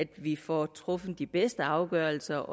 vi får truffet de bedste afgørelser